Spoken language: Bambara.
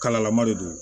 Kalalama de don